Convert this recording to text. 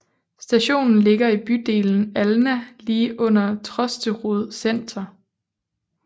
Stationen ligger i bydelen Alna lige under Trosterud senter